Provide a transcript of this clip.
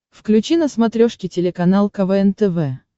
включи на смотрешке телеканал квн тв